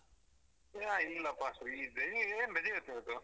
ಏ ಇಲ್ಲಪ್ಪಾ free ಇದ್ದೆ ನಿಂಗೇನು ರಜೆ ಇತ್ತು ಇವತ್ತು?